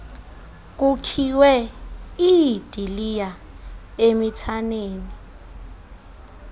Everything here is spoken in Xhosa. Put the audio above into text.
kukhiwe iidiliya emithaneni